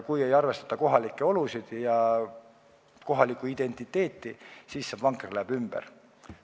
Kui ei arvestata kohalike olude ja kohaliku identiteediga, siis see vanker läheb ümber.